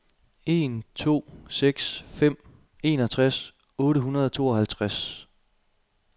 en to seks fem enogtres otte hundrede og tooghalvtreds